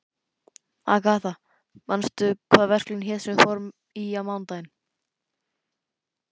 Agatha, manstu hvað verslunin hét sem við fórum í á mánudaginn?